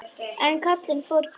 En Kalli fór hvergi.